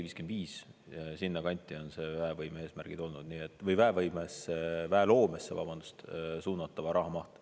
54–55% – sinna kanti on väevõimesse või väeloomesse suunatava raha maht.